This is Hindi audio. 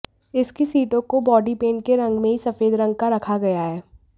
इसकी सीटों को बॉडी पेंट के रंग में ही सफेद रंग का रखा गया है